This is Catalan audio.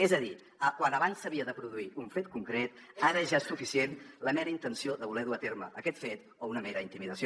és a dir quan abans s’havia de produir un fet concret ara ja és suficient la mera intenció de voler dur a terme aquest fet o una mera intimidació